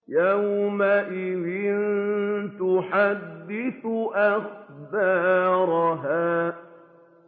يَوْمَئِذٍ تُحَدِّثُ أَخْبَارَهَا